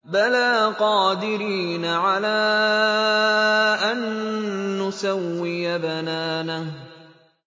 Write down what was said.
بَلَىٰ قَادِرِينَ عَلَىٰ أَن نُّسَوِّيَ بَنَانَهُ